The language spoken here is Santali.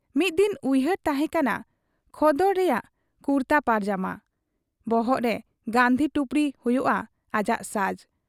ᱢᱤᱫ ᱫᱤᱱ ᱩᱭᱦᱟᱹᱨ ᱛᱟᱦᱮᱸ ᱠᱟᱱᱟ ᱠᱷᱚᱫᱚᱰ ᱨᱮᱭᱟᱜ ᱠᱩᱨᱛᱟ ᱯᱟᱭᱡᱟᱢᱟ, ᱵᱚᱦᱚᱜᱨᱮ ᱜᱟᱹᱱᱫᱷᱤ ᱴᱩᱯᱨᱤ ᱦᱩᱭᱩᱜ ᱟ ᱟᱡᱟᱜ ᱥᱟᱡᱽ ᱾